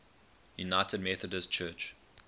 united methodist church